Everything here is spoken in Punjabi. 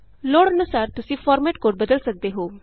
ਲੋੜ ਅਨੂਸਾਰ ਤੁਸੀਂ ਫਾਰਮੈਟ ਕੋਡ ਬਦਲ ਸਕਦੇ ਹੋ